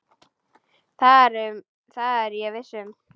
Það er ég viss um.